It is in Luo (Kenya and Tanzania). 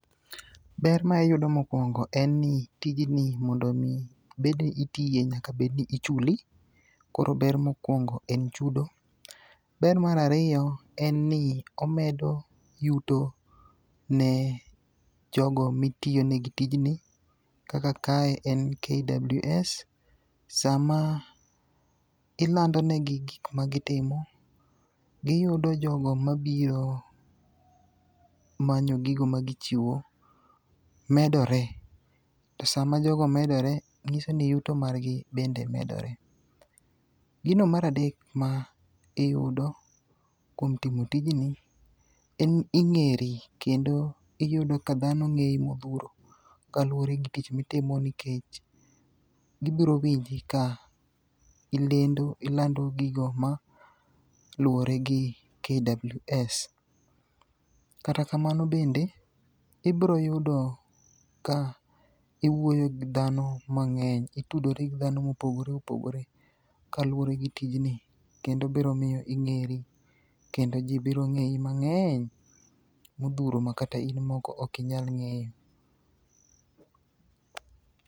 Ber ma iyudo mokwongo en ni tijni mondo omi bedni itiye nyaka bedni ichuli, koro ber mokwongo en chudo. Ber mar ariyo en ni omedo yuto ne jogo mitiyonegi tijni kaka kae en KWS. Sama ilandonegi gik magitimo, giyudo jogo mabiro manyo gigo magichiwo medore, to sama jogo medore, ng'iso ni yuto margi bende medore. Gino mar dek ma iyudo kuom timo tijni en ni ing'eri, kendo iyudo ka dhano ng'eyi modhuro kaluwore gi tich mitimo nikech gibiro winji ka ilando gigo ma luwore gi KWS. Kata kamano bende ibroyudo ka iwuoyo gi dhano mang'eny, itudori gi dhano mopogore opogore kaluwore gi tijni kendo biro miyo ing'eri kendo ji biro ng'eyi mang'eny modhuro makata in moko ok inyal ng'eyo.